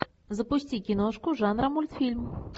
запусти киношку жанра мультфильм